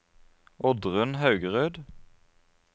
Oddrun Haugerud